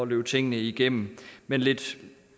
løbe tingene igennem men lidt